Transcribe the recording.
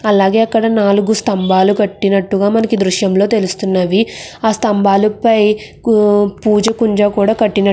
అలాగే అక్కడ నాలుగు స్తంభాలు కట్టినట్టుగా మనకి ఈదృశ్యంలో తెల్లుస్తునది. ఆ స్తంభాలు పై కుంజ కూడా కట్టినట్టు --